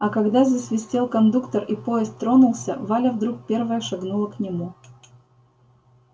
а когда засвистел кондуктор и поезд тронулся валя вдруг первая шагнула к нему